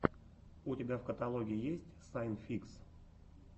у тебя в каталоге есть сайн фикс